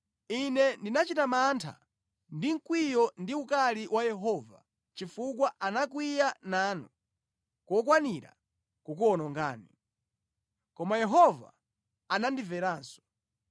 Ine ndinachita mantha ndi mkwiyo ndi ukali wa Yehova chifukwa anakwiya nanu kokwanira kukuwonongani. Koma Yehova anandimveranso.